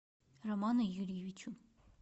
роману юрьевичу